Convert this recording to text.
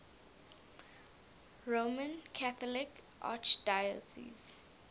roman catholic archdiocese